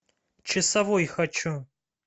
часовой хочу